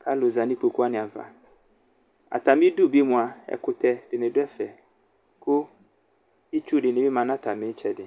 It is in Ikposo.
kʋ alʋza nʋ ikpokʋ wani ava atami idʋ bi mʋa ɛkʋtɛ dini bi dʋ ɛfɛ lʋ itsʋ dini bi manʋ atami itsɛdi